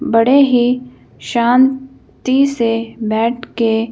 बड़े ही शांति से बैठ के--